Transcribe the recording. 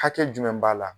Hakɛ jumɛn b'a la